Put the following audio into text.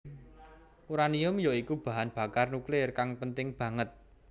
Uranium ya iku bahan bakar nuklir kang penting banget